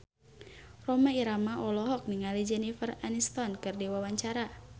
Rhoma Irama olohok ningali Jennifer Aniston keur diwawancara